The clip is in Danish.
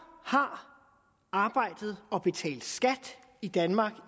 har arbejdet og betalt skat i danmark